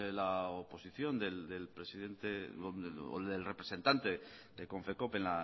la oposición del presidente o del representante de confecoop en